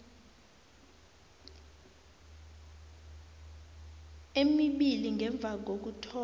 emibili ngemva kokuthoma